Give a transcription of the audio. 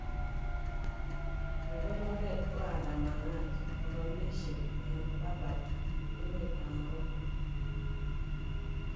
Kaker oret waandamanaji bokolisyek eng Rabat, emet ab Morocco